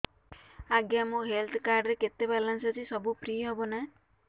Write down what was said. ଆଜ୍ଞା ମୋ health card ରେ କେତେ ବାଲାନ୍ସ ଅଛି ସବୁ ଫ୍ରି ହବ ନାଁ